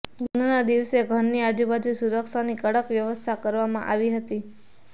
લગ્નના દિવસે ઘરની આજુબાજુ સુરક્ષાની કડક વ્યવસ્થા કરવામાં આવી હતી